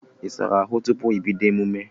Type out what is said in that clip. Ị na-asa ahụ tupu ị bídó emume?